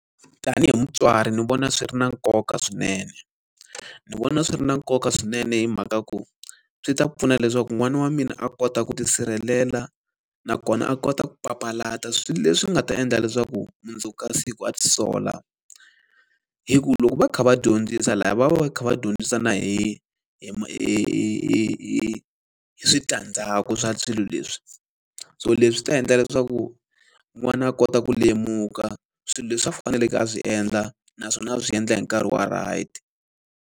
Tanihi mutswari ni vona swi ri na nkoka swinene. Ni vona swi ri na nkoka swinene hi mhaka ku swi ta pfuna leswaku n'wana wa mina a kota ku tisirhelela, nakona a kota ku papalata swilo leswi nga ta endla leswaku mundzuku ka siku a ti sola. Hi ku loko va kha va dyondzisa lahaya va va kha va dyondzisa na hi hi hi hi hi hi hi switandzhaku swa swilo leswi. So leswi ta endla leswaku n'wana a kota ku lemuka swilo leswi a faneleke a swi endla naswona a swi endla hi nkarhi wa right.